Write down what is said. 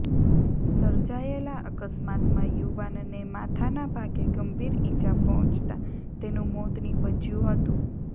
સર્જાયેલા અકસ્માતમાં યુવાનને માથાના ભાગે ગંભીર ઇજા પહોંચતા તેનું મોત નીપજયું હતું